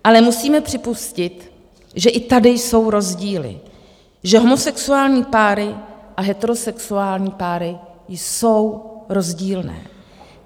Ale musíme připustit, že i tady jsou rozdíly, že homosexuální páry a heterosexuální páry jsou rozdílné.